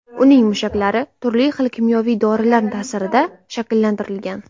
Uning mushaklari turli xil kimyoviy dorilar ta’sirida shakllantirilgan.